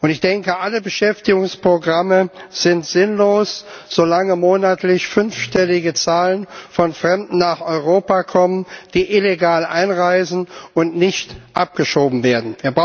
Ich denke, alle Beschäftigungsprogramme sind sinnlos, solange monatlich fünfstellige Zahlen von Fremden nach Europa kommen, die illegal einreisen und nicht abgeschoben werden.